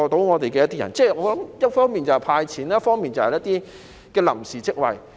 我認為政府應一方面"派錢"，一方面提供一些臨時職位。